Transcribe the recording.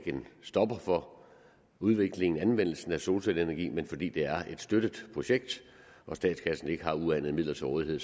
en stopper for udviklingen og anvendelsen af solcelleenergi men fordi det er et støttet projekt hvor statskassen ikke har uanede midler til rådighed